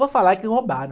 Vou falar que roubaram.